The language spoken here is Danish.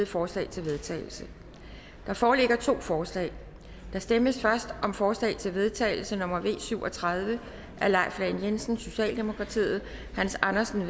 forslag til vedtagelse der foreligger to forslag der stemmes først om forslag til vedtagelse nummer v syv og tredive af leif lahn jensen hans andersen